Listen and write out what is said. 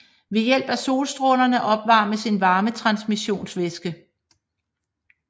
Ved hjælp af solstrålerne opvarmes en varmetransmissionsvæske